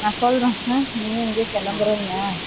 நான் சொல்றன்ல ம் நீயும் எங்கயோ கெளம்புறன்னா